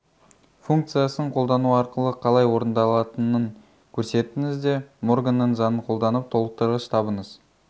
функциясын қолдану арқылы қалай орындалатынын көрсетіңіз де морганның заңын қолданып толықтырғыш табыңыз